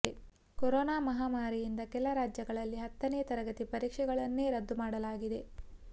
corona ಮಾಹಾಮಾರಿಯಿಂದ ಕೆಲ ರಾಜ್ಯಗಳಲ್ಲಿ ಹತ್ತನೇ ತರಗತಿ ಪರೀಕ್ಷೆಗಳನ್ನೇ ರದ್ದು ಮಾಡಲಾಗಿದೆ